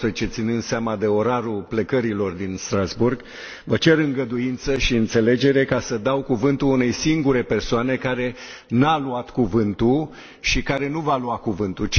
12.00, ținând seama de orarul plecărilor din Strasbourg, vă cer îngăduință și înțelegere ca să dau cuvântul unei singure persoane care nu a luat cuvântul și care nu va lua cuvântul.